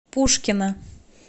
пушкино